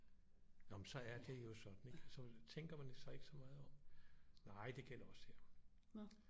Nå men så er det jo sådan ikke og så tænker man sig ikke så meget om nej det gælder også her